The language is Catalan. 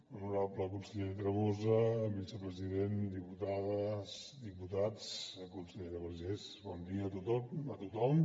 honorable conseller tremosa vicepresident diputades diputats consellera vergés bon dia a tothom